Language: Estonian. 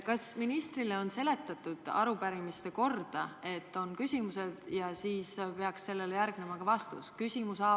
Kas ministrile on seletatud arupärimise korda: et on küsimused ja neile peaks järgnema vastused?